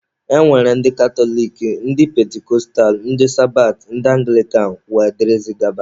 E nwere ndị katọlik, ndị pentikọstal, ndị sabat, ndị anglikan wdg.